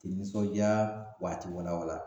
Te nisɔnja w'a te wala wala